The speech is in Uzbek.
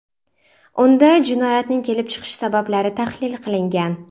Unda jinoyatning kelib chiqish sabablari tahlil qilingan.